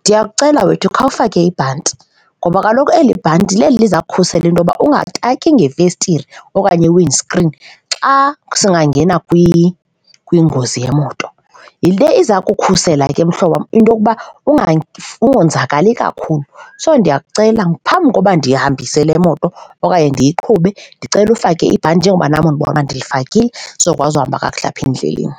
ndiyakucela wethu khawufake ibhanti ngoba kaloku eli bhanti leli liza kukhusela into yokuba ungataki ngefestire okanye i-wind screen xa singangena kwingozi yemoto, yile iza kukhusela ke, mhlobo wam, into okuba ungonzakali kakhulu. So, ndiyakucela, phambi koba ndihambise le moto okanye ndiyiqhube ndicele ufake ibhanti njengoba nam undibona ndilifakile sizokukwazi uhamba kakuhle apha endleleni.